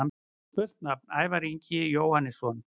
Fullt nafn: Ævar Ingi Jóhannesson